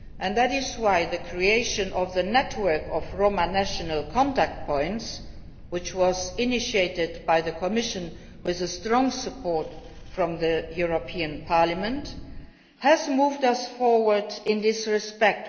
That is why the creation of the network of Roma national contact points, which was initiated by the Commission with the strong support of Parliament, has moved us forward in this respect.